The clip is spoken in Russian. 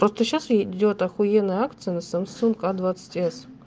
просто сейчас идёт ахуенная акция на самсунг а двадцать эс